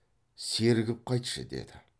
сергіп қайтшы деді